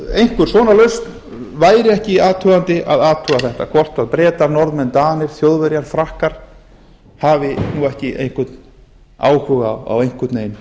einhvern svona lausn væri ekki athugandi að athuga þetta hvort bretar norðmenn danir þjóðverjar frakkar hafi nú ekki einhvern áhuga á